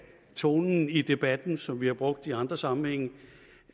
tonen i debatten som vi har brugt i andre sammenhænge